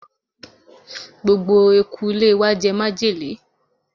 gbogbo eku ilé wa jẹ májèlé